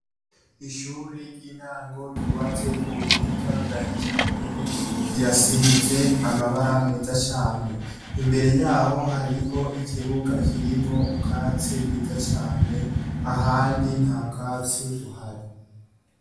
Ishuri ry'intango ryubatswe k'ubuhinga bwa kijambere, rirasize amabara meza cane, imbere yaho hariho ikibuga kirimwo ubwatsi bw'iza cane ,ahandi ntabwatsi buhari.